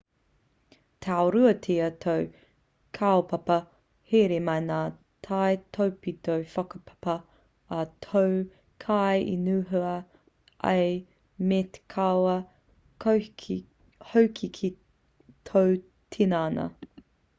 tāruatia tō kaupapa here me ngā taipitopito whakapā a tō kaiinihua ā me kawe hoki ki tō tinana